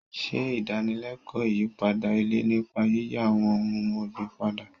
Ṣe ìdánilẹ́kọ̀ọ́ ìyípadà ilẹ̀ nípa yíyí àwọn ohun ọ̀gbìn padà.